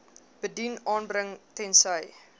bedien aanbring tensy